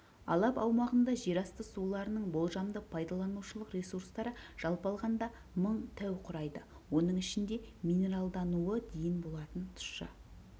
алап аумағында жерасты суларының болжамды пайдаланушылық ресурстары жалпы алғанда мың тәу құрайды оның ішінде минералдануы дейін болатын тұщы